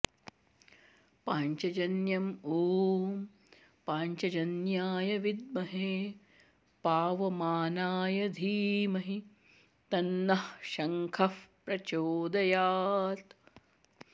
पांचजन्य ॐ पांचजन्याय विद्महे पावमानाय धीमहि तन्नः शंखः प्रचोदयात्